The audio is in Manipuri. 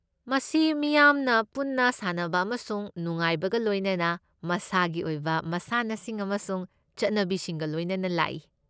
ꯃꯁꯤ ꯃꯤꯌꯥꯝꯅ ꯄꯨꯟꯅ ꯁꯥꯟꯅꯕ ꯑꯃꯁꯨꯡ ꯅꯨꯡꯉꯥꯏꯕꯒ ꯂꯣꯏꯅꯅ ꯃꯁꯥꯒꯤ ꯑꯣꯏꯕ ꯃꯁꯥꯟꯅꯁꯤꯡ ꯑꯃꯁꯨꯡ ꯆꯠꯅꯕꯤꯁꯤꯡꯒ ꯂꯣꯏꯅꯅ ꯂꯥꯛꯏ꯫